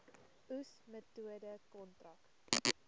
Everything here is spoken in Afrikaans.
oes metode kontrak